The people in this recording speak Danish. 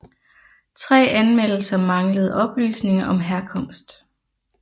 Tre anmeldelser manglede oplysninger om herkomst